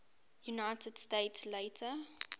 united states later